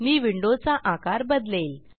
मी विंडोचा आकार बदलेल